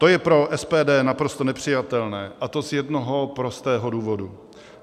To je pro SPD naprosto nepřijatelné, a to z jednoho prostého důvodu.